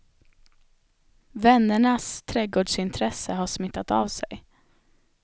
Vännernas trädgårdsintresse har smittat av sig.